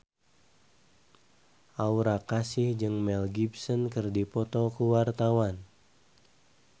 Aura Kasih jeung Mel Gibson keur dipoto ku wartawan